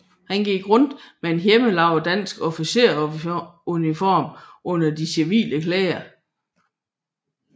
Han gik rundt med en hjemmelavet dansk officersuniform under de civile klæder